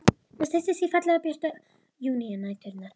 Það styttist í fallegu, björtu júnínæturnar.